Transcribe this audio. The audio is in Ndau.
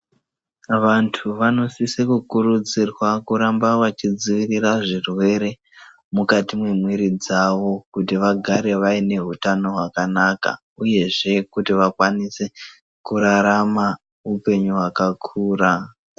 Vantu vanosise kukurudzirwa kuramba vachidzivirira zvirwere mukati mwemwiri dzavo. Kuti vagare vaine hutano hwakanaka, uyezve kuti vakwanise kurarama upenyu hwakakura.